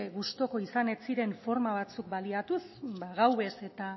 gustuko izan ez ziren forma batzuk baliatuz ba gauez eta